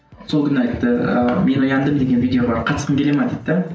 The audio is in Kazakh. сол күні айтты ыыы мен ояндым деген видео бар қатысқың келе ме дейді де